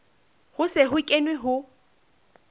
ho se ho kenwe ho